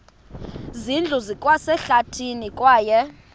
zindlu zikwasehlathini kwaye